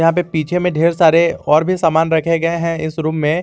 यहां पे पीछे में ढेर सारे और भी सामान रखे गए हैं इस रूम में।